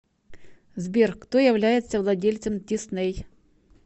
сбер кто является владельцем дисней